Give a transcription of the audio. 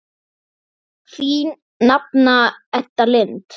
Þín nafna Edda Lind.